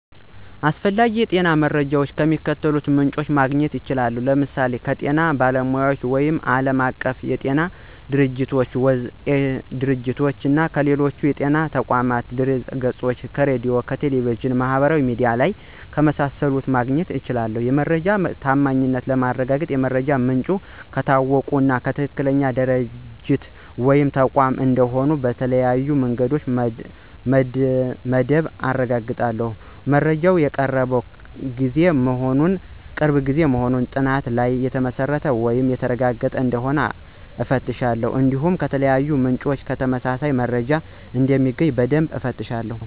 ስለ አስፈላጊ የጤና መረጃዎች ከሚከተሉት ምንጮች ማግኘት እችላለሁ፦ ለምሳሌ ከጤና ባለሙያዎች ወይም ዓለም አቀፍ የጤና ድርጅቶች - (WHO)፣ እና ከሌሎች የጤና ተቋማት ድህረገጾች፣ ከሬዲዮ፣ ከቴሌቪዥን እና ማህበራዊ ሚዲያ ላይ ከመሳሰሉት ማግኘት እችላለሁ። የመረጃው ታማኝነት ለማረጋገጥ የመረጃው ምንጭ ከታወቀ እና ትክክለኛ ድርጅት ወይም ተቋም እንደሆነ በተለያዩ መንገዶች በደንብ አረጋግጣለሁ። መረጃው የቅርብ ጊዜ መሆኑን እና በጥናቶች ላይ የተመሰረተ ወይም የተረጋገጠ እንደሆነ እፈትሻለሁ። እንዲሁም ከተለያዩ ምንጮች ተመሳሳይ መረጃ እንደሚገኝ በደንብ እፈትሻለሁ።